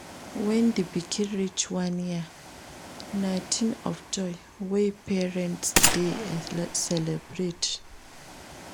When di pikin reach one year na thing of joy wey parents dey celebrate